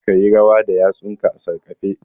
Ka yi rawa da yatsunka a sarƙafe